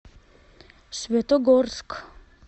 светогорск